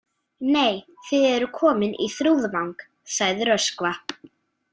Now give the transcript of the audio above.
Nei, þið eruð komin í Þrúðvang, sagði Röskva.